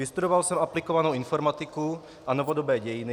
Vystudoval jsem aplikovanou informatiku a novodobé dějiny.